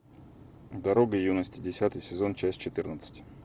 дорога юности десятый сезон часть четырнадцать